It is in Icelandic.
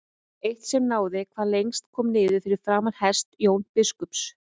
Eitt sem náði hvað lengst kom niður fyrir framan hest Jóns biskups.